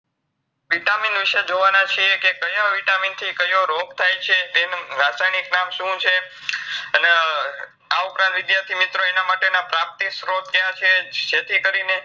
vitamin વિષય જોવાના છીએ કે કયા vitamin થી કયો રોગ થાયછે, તેન રાસાયનિક નામ શું છે અને વિદ્યાર્થી મિત્રો એનામાટેના પ્રાપ્તિ સ્ત્રોત ક્યા છે જેથીકરીને